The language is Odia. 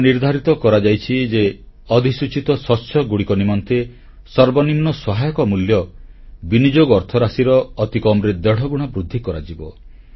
ଏହା ନିର୍ଦ୍ଧାରିତ କରାଯାଇଛି ଯେ ଅଧିସୂଚିତ ଶସ୍ୟଗୁଡ଼ିକ ନିମନ୍ତେ ସର୍ବନିମ୍ନ ସହାୟକ ମୂଲ୍ୟ ବିନିଯୋଗ ଅର୍ଥରାଶିର ଅତିକମ୍ ରେ ଦେଢ଼ଗୁଣା ବୃଦ୍ଧି କରାଯିବ